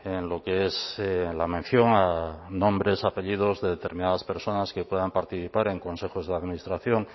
en lo que es la mención a nombres apellidos de determinadas personas que puedan participar en consejos de administración